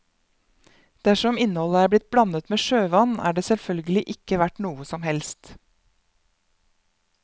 Dersom innholdet er blitt blandet med sjøvann, er det selvfølgelig ikke verdt noe som helst.